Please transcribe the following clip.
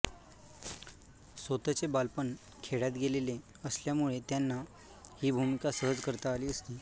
स्वतचे बालपण खेड्यात गेलेले असल्यामुळे त्यांना ही भूमिका सहज करता आली असती